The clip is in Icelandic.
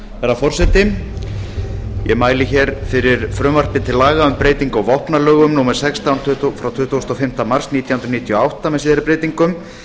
herra forseti ég mæli hér fyrir frumvarpi til laga um breytingu á vopnalögum númer sextán frá tuttugasta og fimmta mars nítján hundruð níutíu og átta með síðari breytingum